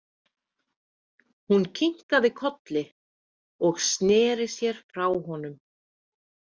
Hún kinkaði kolli og sneri sér frá honum.